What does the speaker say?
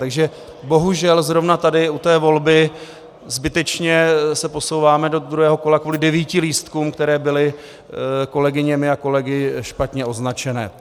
Takže bohužel zrovna tady u té volby zbytečně se posouváme do druhého kola kvůli devíti lístkům, které byly kolegyněmi a kolegy špatně označené.